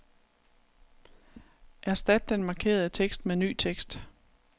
Erstat den markerede tekst med ny tekst.